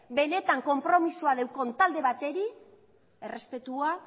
benetan konpromisoa daukan talde bateri errespetua